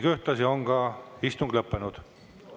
Ühtlasi on istung lõppenud.